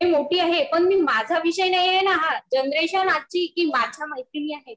मोठी आहे पण माझा विषय नाही आहे ना हा. जनरेशन आजची की माझ्या मैत्रिणी आहेत